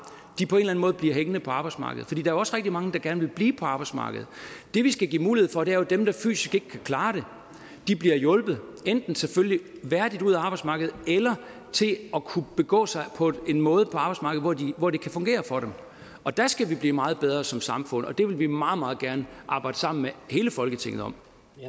på en måde bliver hængende på arbejdsmarkedet for der er også rigtig mange der gerne vil blive på arbejdsmarkedet det vi skal give mulighed for er jo at dem der fysisk ikke kan klare det bliver hjulpet enten selvfølgelig værdigt ud af arbejdsmarkedet eller til at kunne begå sig på en måde på arbejdsmarkedet hvor det kan fungere for dem der skal vi blive meget bedre som samfund og det vil vi meget meget gerne arbejde sammen med hele folketinget om